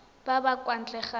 ba ba kwa ntle ga